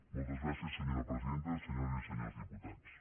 moltes gràcies senyora presidenta senyores i senyors diputats